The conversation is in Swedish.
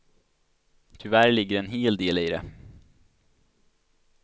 Tyvärr ligger det en hel del i det.